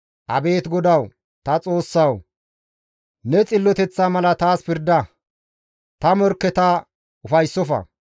Abeet GODAWU ta Xoossawu! ne xilloteththa mala taas pirda; ta morkketakka ufayssofa.